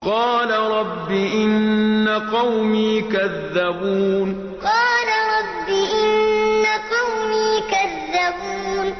قَالَ رَبِّ إِنَّ قَوْمِي كَذَّبُونِ قَالَ رَبِّ إِنَّ قَوْمِي كَذَّبُونِ